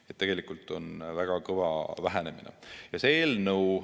Nii et tegelikult on see väga kõva vähenemine.